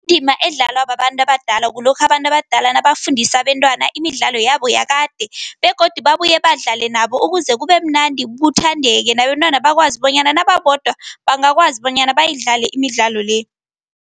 Indima edlalwa babantu abadala kulokha abantu abadala nabafundise abentwana imidlalo yabo yakade begodu babuye badlale nabo ukuze kubemnandi kuthandeke, nabentwana bakwazi bonyana nababodwa bangakwazi bonyana bayidlale imidlalo le.